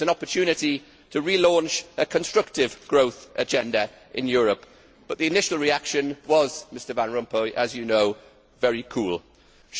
It was an opportunity to relaunch a constructive growth agenda in Europe, but the initial reaction was very cool, as you know, Mr Van Rompuy.